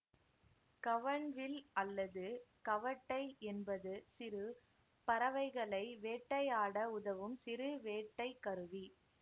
கவண்வில் அல்லது கவட்டை என்பது சிறு பறவைகளை வேட்டையாட உதவும் சிறு வேட்டை கருவி